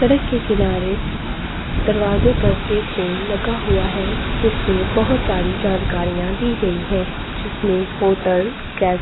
सड़क के किनारे दरवाजे पर एक बोर्ड लगा हुआ है जिसमें बहुत सारी जानकारिया दी गई है जिसने होटल गै--